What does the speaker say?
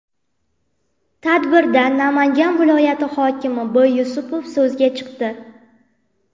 Tadbirda Namangan viloyati hokimi B. Yusupov so‘zga chiqdi.